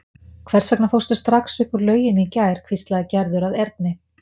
Hvers vegna fórstu strax upp úr lauginni í gær? hvíslaði Gerður að Erni.